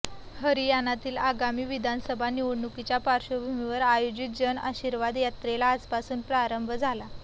हरियाणातील आगामी विधानसभा निवडणुकीच्या पार्श्वभूमीवर आयोजित जन आशीर्वाद यात्रेला आजपासून प्रारंभ झाला